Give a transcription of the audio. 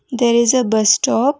there is a bus stop.